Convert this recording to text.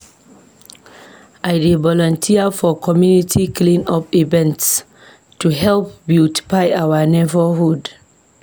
I dey volunteer for community clean-up events to help beautify our neighborhood.